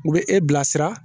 U bɛ e bila sira